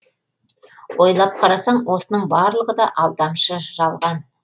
ойлап қарасаң осының барлығы да алдамшы жалған